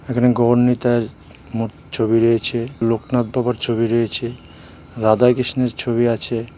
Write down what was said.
এখানে গৌড় নিতাইয়ের মূ ছবি রয়েছে লোকনাথ বাবার ছবি রয়েছে রাধা কৃষ্ণের ছবি আছে.